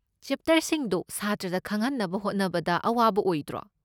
ꯆꯦꯞꯇꯔꯁꯤꯡꯗꯣ ꯁꯥꯇ꯭ꯔꯗ ꯈꯪꯍꯟꯅꯕ ꯍꯣꯠꯅꯕꯗ ꯑꯋꯥꯕ ꯑꯣꯏꯗ꯭ꯔꯣ?